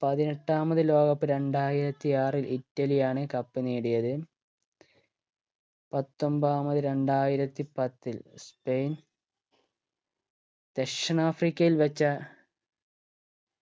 പതിനെട്ടാമത് ലോക cup രണ്ടായിരത്തി ആറിൽ ഇറ്റലിയാണ് cup നേടിയത് പത്തൊമ്പതാമത് രണ്ടായിരത്തി പത്തിൽ സ്പെയിൻ ദക്ഷിണാഫ്രിക്കയിൽ വെച്ച്